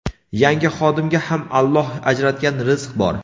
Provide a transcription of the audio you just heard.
yangi xodimga ham Alloh ajratgan rizq bor.